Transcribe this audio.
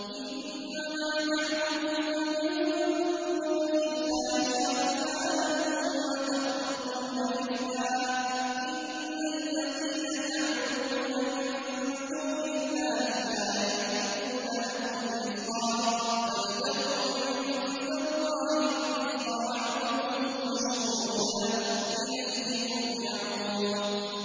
إِنَّمَا تَعْبُدُونَ مِن دُونِ اللَّهِ أَوْثَانًا وَتَخْلُقُونَ إِفْكًا ۚ إِنَّ الَّذِينَ تَعْبُدُونَ مِن دُونِ اللَّهِ لَا يَمْلِكُونَ لَكُمْ رِزْقًا فَابْتَغُوا عِندَ اللَّهِ الرِّزْقَ وَاعْبُدُوهُ وَاشْكُرُوا لَهُ ۖ إِلَيْهِ تُرْجَعُونَ